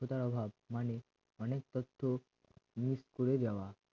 মানে অনেক তথ্য move করে যাওয়া